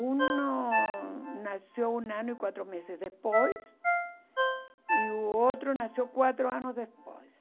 Um nasceu um ano e quatro meses depois e o outro nasceu quatro anos depois.